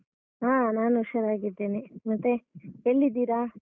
ಹಾ ನಾನ್ ಹುಷಾರಾಗಿದ್ದೇನೆ, ಮತ್ತೆ ಎಲ್ಲಿದ್ದೀರಾ?